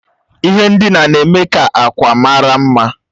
Ihe ndina na-eme ka akwa mara mma